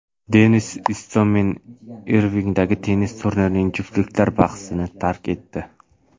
Denis Istomin Irvingdagi tennis turnirining juftliklar bahsini tark etdi.